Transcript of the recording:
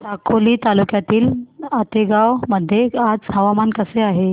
साकोली तालुक्यातील आतेगाव मध्ये आज हवामान कसे आहे